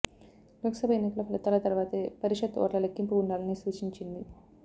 లోక్సభ ఎన్నికల ఫలితాల తర్వాతే పరిషత్ ఓట్ల లెక్కింపు ఉండాలని సూచించింది